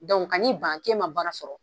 Dɔnku ka n'i ban k'e ma baara sɔrɔ.